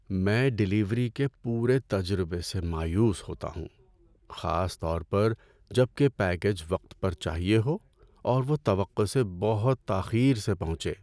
میں ڈیلیوری کے پورے تجربے سے مایوس ہوتا ہوں، خاص طور پر جب کہ پیکیج وقت پر چاہیے ہو اور وہ وہ توقع سے بہت تاخیر سے پہنچے۔